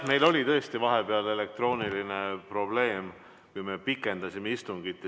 Meil oli vahepeal elektrooniline probleem, kui me pikendasime istungit.